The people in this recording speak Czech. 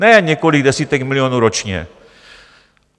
Ne několik desítek milionů ročně.